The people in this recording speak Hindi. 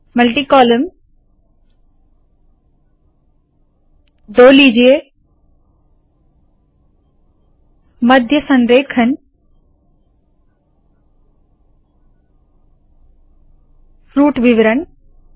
मल्टी कॉलम दो लीजिए मध्य संरेखण फ्रूट विवरण